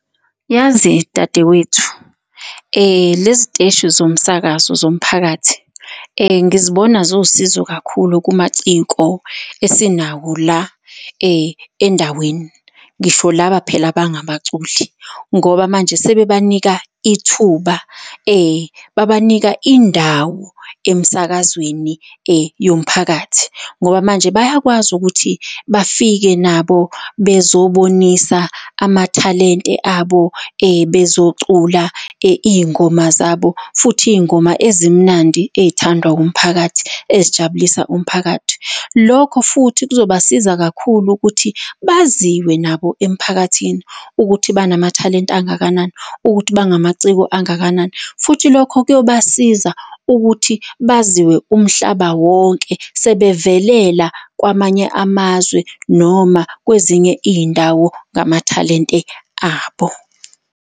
Yazi dadewethu, lezi teshi zomsakazo zomphakathi ngizibona zuwusizo kakhulu kumaciko esinawo la endaweni. Ngisho lawa phela abangabaculi, ngoba manje sebebanika ithuba babanika indawo emsakazweni yomphakathi ngoba manje bayakwazi ukuthi bafike nabo bezobonisa amathalente abo, bezocula iy'ngoma zabo futhi iy'ngoma ezimnandi ey'thandwa umphakathi, ezijabulisa umphakathi. Lokho futhi kuzobasiza kakhulu ukuthi baziwe nabo emphakathini ukuthi banamathalente angakanani, ukuthi bangamaciko angakanani, futhi lokho kuyobasiza ukuthi baziwe umhlaba wonke sebevelela kwamanye amazwe, noma kwezinye iy'ndawo ngamathalente abo.